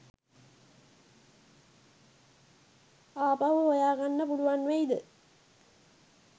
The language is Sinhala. ආපහු හොයා ගන්න පුළුවන් වෙයිද?